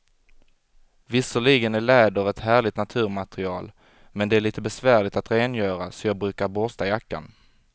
Visserligen är läder ett härligt naturmaterial, men det är lite besvärligt att rengöra, så jag brukar borsta jackan.